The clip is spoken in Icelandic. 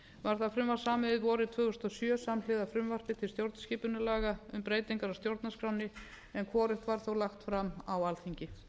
það frumvarp samið vorið tvö þúsund og sjö samhliða frumvarpi til stjórnarskipunarlaga um breytingar á stjórnarskránni en hvorugt var þó lagt fram á alþingi